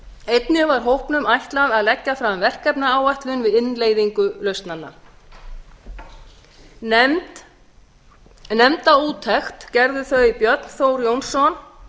einnig var hópnum ætlað að leggja fram verkefnaáætlun við innleiðingu lausnanna nefnda úttekt gerðu þau björn þór